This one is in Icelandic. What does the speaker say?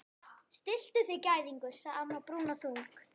Stilltu þig gæðingur sagði amma brúnaþung.